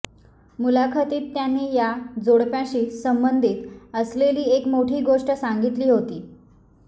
मुलाखतीत त्यांनी या जोडप्याशी संबंधित असलेली एक मोठी गोष्ट सांगितली होती